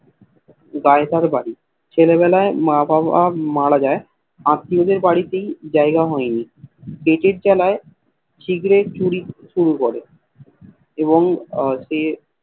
গায়ে তার বাড়ি ছেলে বেলায় মা বাবা মারা যায় আততীয় দের বাড়িতে জায়গা হয়নি পেটের জালাই ছিনতাই চুরি শুরু করে এবং সে